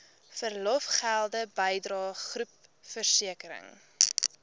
verlofgelde bydrae groepversekering